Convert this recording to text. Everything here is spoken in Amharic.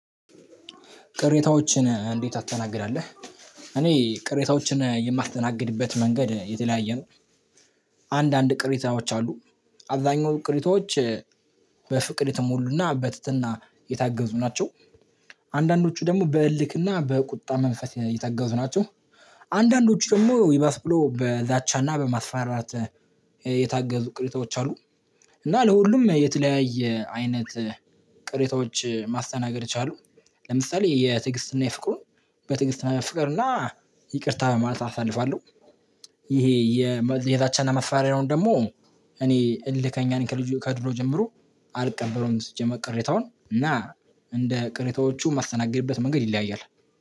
ቅሬታዎችን እንዴት ታስተናግዳለህ? እኔ ቅሬታዎችን የማትተናግድበት መንገድ የተለያየ ነው። አንዳንድ ቅሪታዎች አሉ። አብዛኛው ቅሪቶች በፍቅር የተሞሉና በትህትና የታገዙ ናቸው። አንዳንዶቹ ደግሞ በእልክና በቁጣ መንፈስ የታገዙ ናቸው። አንዳንዶቹ ደግሞ ይበስ ብሎ በዛቻና በማስፈራት የታገዙ ቅሬታዎች አሉ። እና ለሁሉም የተለያየ አይነት ቅሬታዎች ማስተናገድ የቻሉ ለምሳሌ የትግስትና የፍቅሩን በትግስትና ፍቅርና ይቅርታ በማለት አሳልፋለሁ። ይሄ የዛቻና መፋሪያውን ደግሞ እኔ እልከኛ ነኝ ከልጁ ከድሮ ጀምሮ አልቀበለውም። ሲጀመር ቅሬታውን እና እንደ ቅሬታዎቹ ማስተናገድበት መንገድ ይለያያል።